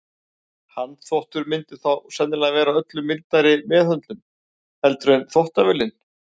Handþvottur myndi þó sennilega vera öllu mildari meðhöndlun heldur en þvottavélin.